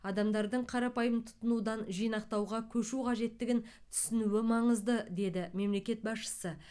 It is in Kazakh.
адамдардың қарапайым тұтынудан жинақтауға көшу қажеттігін түсінуі маңызды деді мемлекет басшысы